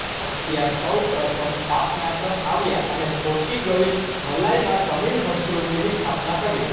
અગત્યાર સૌપ્રથમ પાપનાશમ આવ્યા અને પોથિગઇ મલાઇમાં તમિલ સંસ્કૃતિની સ્થાપના કરી